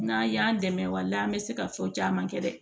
N'an y'an dɛmɛ wali an bɛ se ka fɔ caman kɛ dɛ